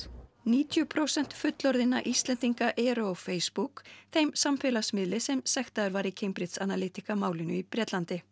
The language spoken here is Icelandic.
níutíu prósent fullorðinna Íslendinga eru á Facebook þeim samfélagsmiðli sem sektaður var í Cambrigde Analytica málinu í Bretlandi